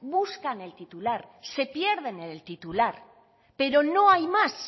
buscan el titular se pierden en el titular pero no hay más